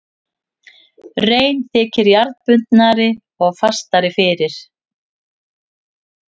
Rein þykir jarðbundnari og fastari fyrir.